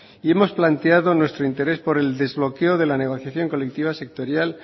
hemos planteado nuestro interés por el desbloqueo de la negociación colectiva sectorial